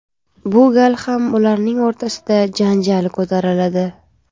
Bu gal ham ularning o‘rtasida janjal ko‘tariladi.